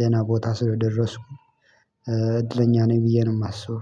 ደህና ቦታ ስለደረስኩም እድለኛ ነኝ ብዬ ነው የማስበው